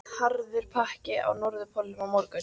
Harður pakki á Norðurpólnum á morgun